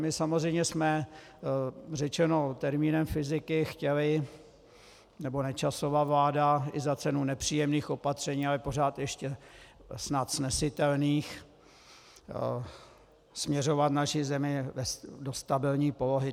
My samozřejmě jsme řečeno termínem fyziky chtěli - nebo Nečasova vláda i za cenu nepříjemných opatření, ale pořád ještě snad snesitelných - směřovat naši zemi do stabilní polohy.